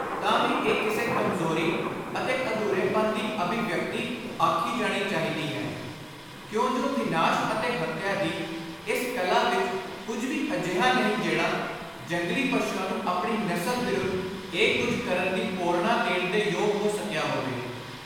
ਤਾਂ ਵੀ ਇਹ ਕਿਸੇ ਕਮਜ਼ੋਰੀ ਅਤੇ ਅਧੁਰੇਪਨ ਦੀ ਅਭਿਵਿਅਕਤੀ ਆਖੀ ਜਾਣੀ ਚਾਹੀਦੀ ਹੈ ਕਿਉਂਜੁ ਵਿਨਾਸ਼ ਅਤੇ ਹੱਤਿਆ ਦੀ ਇਸ ਕਲਾ ਵਿਚ ਕੁਝ ਵੀ ਅਜਿਹਾ ਨਹੀਂ ਜਿਹੜਾ ਜੰਗਲੀ ਪਸ਼ੂਆਂ ਨੂੰ ਆਪਣੀ ਨਸਲ ਵਿਰੁੱਧ ਇਹ ਕੁਝ ਕਰਨ ਦੀ ਪੋਰਣਾ ਦੇਣ ਦੇ ਯੋਗ ਹੋ ਸਕਿਆ ਹੋਵੇ।